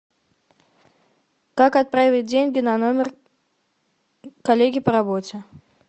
как отправить деньги на номер коллеги по работе